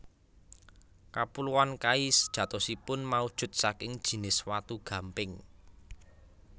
Kapuloan Kai sejatosipun maujud saking jinis watu gamping